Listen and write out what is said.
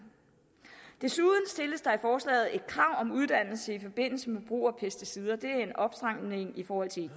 desuden stilles der i forslaget et krav om uddannelse i forbindelse med brug af pesticider det er en opstramning i forhold til